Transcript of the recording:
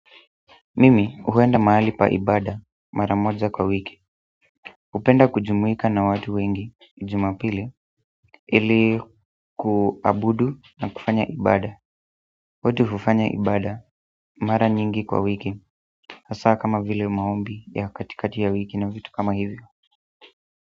Mimi huenda mahali pa ibada, mara moja kwa wiki hupenda kujumuika na watu wengi Jumapili ili ku abudu na kufanya ibada watu hufanya ibada, mara nyingi kwa wiki hasa kama vile maombi, ya katikati ya wiki na vitu kama hivyo.